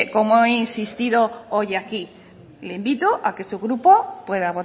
como he insistido hoy aquí le invito a que su grupo pueda